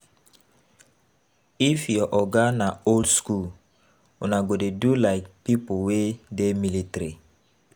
If your oga na old skool, una go dey do like pipo wey dey military.